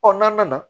n'an nana